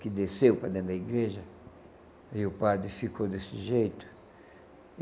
que desceu para dentro da igreja, e o padre ficou desse jeito.